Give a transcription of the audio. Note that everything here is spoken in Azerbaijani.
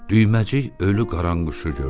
Düyməcik ölü qaranquşu gördü.